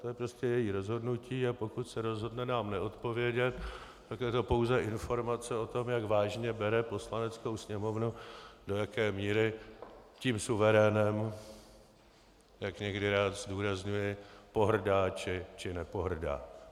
To je prostě její rozhodnutí, a pokud se rozhodne nám neodpovědět, tak je to pouze informace o tom, jak vážně bere Poslaneckou sněmovnu, do jaké míry tím suverénem, jak někdy rád zdůrazňuji, pohrdá, či nepohrdá.